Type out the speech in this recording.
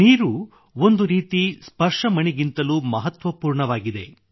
ನೀರು ಒಂದು ರೀತಿ ಸ್ಪರ್ಶಮಣಿಗಿಂತಲೂ ಮಹತ್ವಪೂರ್ಣವಾಗಿದೆ